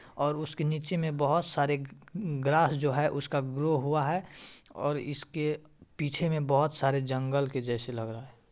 और उसके नीचे बहुत सारे ग्रास जो है उसका ग्रो हुआ है और इसके पीछे में बहुत सारे जंगल के जैसे लग रहा है।